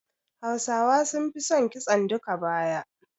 Hausawa sun fi son kitson duka-baya